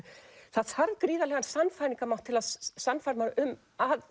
það þarf gríðarlegan sannfæringarmátt til að sannfæra mann um að